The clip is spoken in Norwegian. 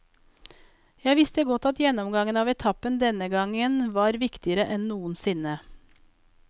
Jeg visste godt at gjennomgangen av etappen denne gangen var viktigere enn noen sinne.